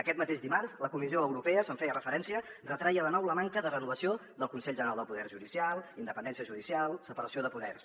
aquest mateix dimarts la comissió europea hi feia referència retreia de nou la manca de renovació del consell general del poder judicial independència judicial separació de poders